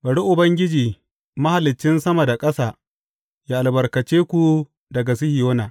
Bari Ubangiji, Mahaliccin sama da ƙasa, ya albarkace ku daga Sihiyona.